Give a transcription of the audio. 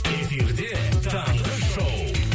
эфирде таңғы шоу